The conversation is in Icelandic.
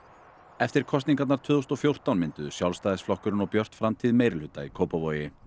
eftir kosningarnar tvö þúsund og fjórtán mynduðu Sjálfstæðisflokkurinn og Björt framtíð meirihluta í Kópavogi